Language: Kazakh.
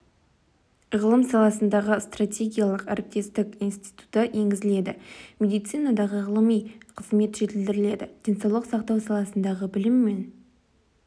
ғылым саласындағы стратегиялық әріптестік институты енгізіледі медицинадағы ғылыми қызмет жетілдіріледі денсаулық сақтау саласындағы білім мен